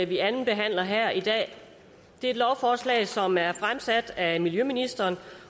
vi andenbehandler her i dag er et lovforslag som er fremsat af miljøministeren